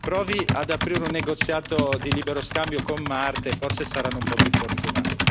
Provi ad aprire un negoziato di libero scambio con Marte e forse saranno un po' più fortunati.